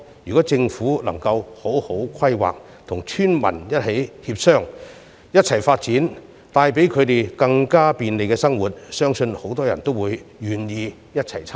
如政府能好好作出規劃，與村民一起協商和發展，帶給他們更加便利的生活，相信很多村民均願意一同參與。